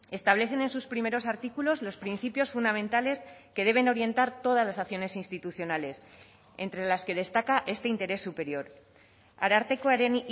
establecen en sus primeros artículos los principios fundamentales que deben orientar todas las acciones institucionales entre las que destaca este interés superior arartekoaren